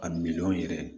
A miliyɔn yɛrɛ